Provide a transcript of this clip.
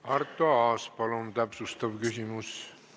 Arto Aas, palun täpsustav küsimus!